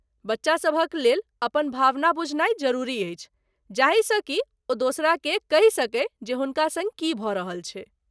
बच्चासभक लेल अपन भावना बुझनाइ जरुरी अछि जाहिसँ कि ओ दोसराकेँ कहि सकय जे हुनका सङ्ग की भऽ रहल छै।